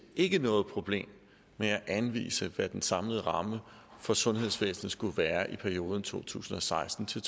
ikke noget problem med at anvise hvad den samlede ramme for sundhedsvæsenet skulle være i perioden to tusind og seksten til